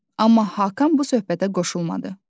Amma Hakan bu söhbətə qoşulmadı.